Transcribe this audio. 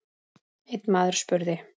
Einn maður spurði